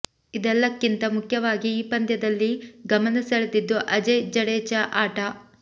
ಇದೆಲ್ಲಕ್ಕಿಂತ ಮುಖ್ಯವಾಗಿ ಈ ಪಂದ್ಯದಲ್ಲಿ ಗಮನ ಸೆಳೆದಿದ್ದು ಅಜಯ್ ಜಡೇಜಾ ಆಟ